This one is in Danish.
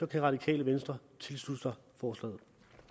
det radikale venstre tilslutte sig forslaget